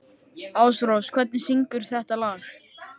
Ásrós, hver syngur þetta lag?